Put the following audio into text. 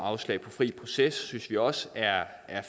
afslag på fri proces synes vi også er